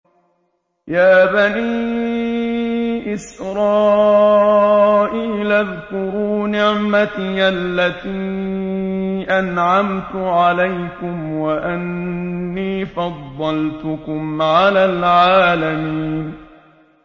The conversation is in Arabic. يَا بَنِي إِسْرَائِيلَ اذْكُرُوا نِعْمَتِيَ الَّتِي أَنْعَمْتُ عَلَيْكُمْ وَأَنِّي فَضَّلْتُكُمْ عَلَى الْعَالَمِينَ